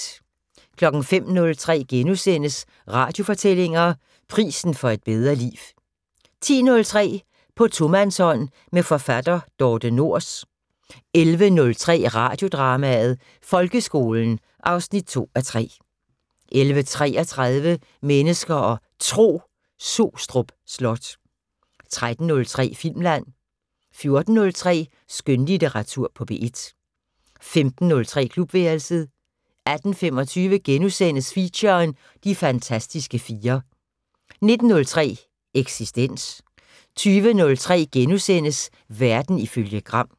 05:03: Radiofortællinger: Prisen for et bedre liv * 10:03: På tomandshånd med forfatter Dorthe Nors 11:03: Radiodrama: Folkeskolen 2:3 11:33: Mennesker og Tro: Sostrup Slot 13:03: Filmland 14:03: Skønlitteratur på P1 15:03: Klubværelset 18:25: Feature: De fantastiske fire * 19:03: Eksistens 20:03: Verden ifølge Gram *